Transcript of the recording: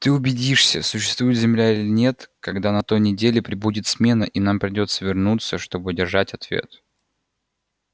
ты убедишься существует земля или нет когда на той неделе прибудет смена и нам придётся вернуться чтобы держать ответ